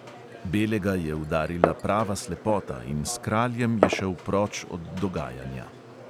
Belega je udarila prava slepota in s kraljem je šel proč od dogajanja.